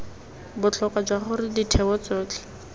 botlhokwa jwa gore ditheo tsotlhe